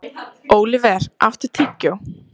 Óliver, áttu tyggjó?